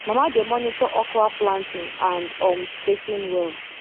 mama dey monitor okra planting and um spacing well